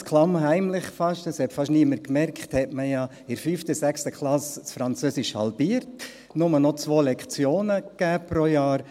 Ganz klammheimlich, fast niemand hat das bemerkt, hat man Französisch in der 5. und 6. Klasse ja halbiert und nur noch 2 Jahreslektionen gegeben.